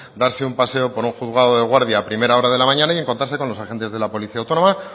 darse un paseo por un juzgado de guardia a primera hora de la mañana y encontrarse con los agentes de la policía autónoma